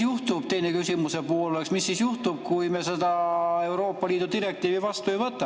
Teine küsimuse pool oleks, et mis siis juhtub, kui me seda Euroopa Liidu direktiivi vastu ei võta.